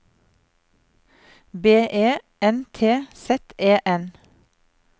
B E N T Z E N